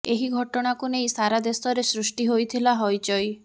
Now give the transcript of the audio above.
ଏହି ଘଟଣାକୁ ନେଇ ସାରା ଦେଶରେ ସୃଷ୍ଟି ହୋଇଥିଲା ହଇଚଇ